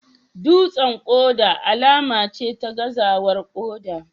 Dutsen koda alama ce ta gazawar koda